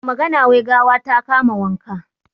Da magana, wai gawa ta kama mai wanka.